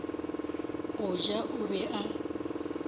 go ja o be a